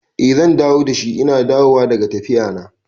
I zan dawo dashi ina dawowa daga tafiya na